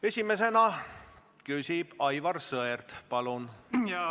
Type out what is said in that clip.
Esimesena küsib Aivar Sõerd, palun!